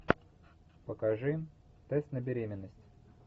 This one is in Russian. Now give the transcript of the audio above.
покажи тест на беременность